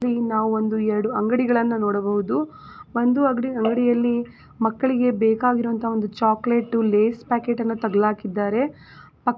ನಾವು ಇಲ್ಲಿ ಒಂದು ಎರಡು ಅಂಗಡಿಗಳನ್ನ ನೋಡಬಹುದು ಒಂದು ಅಂಗಡಿಯಲ್ಲಿ ಮಕ್ಕಳಿಗೆ ಬೇಕಾಗಿರೋ ಅಂತಹ ಒಂದು ಚಾಕ್ಲೆಟ್ ಲೇಸ್ ಪ್ಯಾಕೆಟನ್ನ ತಗಲಾಕಿದ್ದಾರೆ.